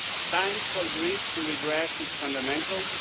Time for Greece to redress its fundamentals